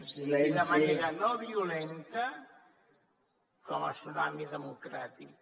d’una manera no violenta com el tsunami democràtic